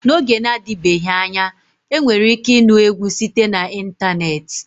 N'oge na-adịbeghị anya enwere ike ịnụ egwu site na ịntanetị.